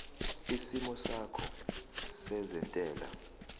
isimo sakho sezentela